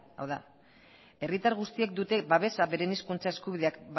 hau da herritar guztiek dute babesa beren hizkuntza eskubideak